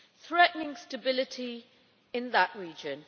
threatening stability in that region.